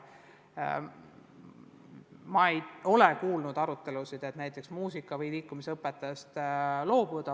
Ma ei ole kuulnud arutelusid, et muusika- või liikumisõpetajast võiks loobuda.